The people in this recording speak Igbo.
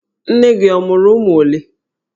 Nne gị ọ mụrụ ụmụ olee?